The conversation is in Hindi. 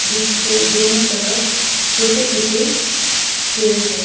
जिसके दोनों तरफ छोटे छोटे पेड़ हैं।